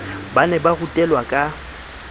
ba ne ba rutelwa ka